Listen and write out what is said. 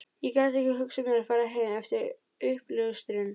Ég gat ekki hugsað mér að fara heim eftir uppljóstrun